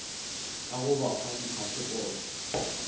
ka go ba fa diphasepote